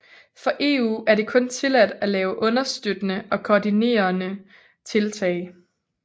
For EU er det kun tilladt at lave understøttende og koordinerende tiltag